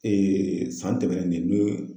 san tɛmɛnen n ye